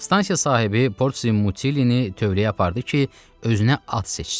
Stansiya sahibi Portsi Mutillini tövləyə apardı ki, özünə at seçsin.